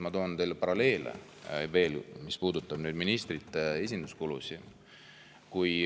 Ma toon teile veel paralleeli, mis puudutab ministrite esinduskulusid.